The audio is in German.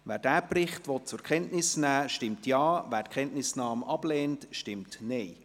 Wer diesen Bericht zur Kenntnis nehmen will, stimmt Ja, wer die Kenntnisnahme ablehnt, stimmt Nein.